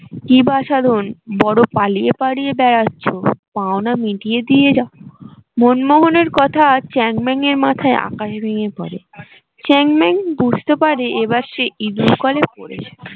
কি বাছাধন বড্ড পালিয়ে পালিয়ে বেড়াচ্ছ পাওনা মিটিয়ে দিয়ে যাও মনমোহনের কথা চ্যাংম্যানের মাথায় আকাশ ভেঙ্গে পরে চ্যাংম্যান বুঝতে পারে এবার সে ইঁদুর কলে পড়েছে